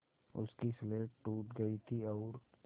उसकी स्लेट टूट गई थी और